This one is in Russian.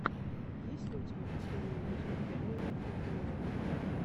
есть ли у тебя последний эпизод реального футбола